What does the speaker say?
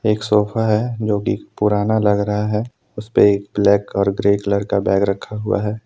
एक सोफा है जो की पुराना लग रहा है उस पे ब्लैक और ग्रे कलर का बैग रखा हुआ है।